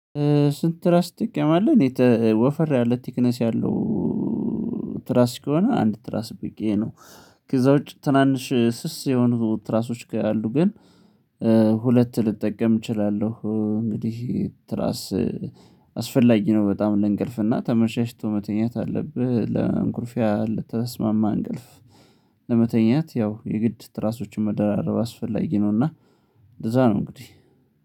ስንት? ትራስቲክ ያለ ወፈር ያለ ቲክነስ ያለው ትራስ ከሆነ አንድ ትራስ ብቻ ነው። ከዛ ውጪ ትናንሽ ስስ የሆኑ ትራሶች ካሉ ግን ሁለት ልጠቀም እችላለሁ። እንግዲህ ትራስ አስፈላጊ ነው በጣም ለእንቅልፍና ተመቻችቶህ መተኛት አለብህ ለአንጎልፊያ ለተስማማ አንገልፍ። ለመተኛት ያው የግድ ትራሶችን መደራረብ አስፈላጊ ነውና። እንደዛ ነው እንግዲህ